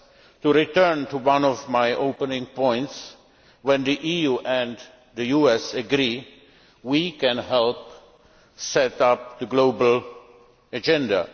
To return to one of my opening points, when the EU and the US agree, we can help set the global agenda.